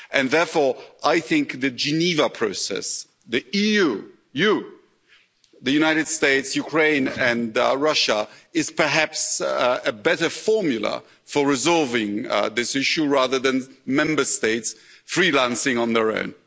Therefore, I think the Geneva process the EU, you, the United States, Ukraine and Russia is perhaps a better formula for resolving this issue, rather than Member States freelancing on their own.